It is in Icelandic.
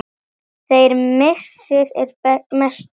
Þeirra missir er mestur.